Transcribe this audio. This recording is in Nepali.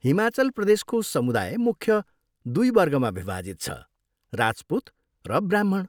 हिमाचल प्रदेशको समुदाय मुख्य दुई वर्गमा विभाजित छ, राजपुत र ब्राह्मण।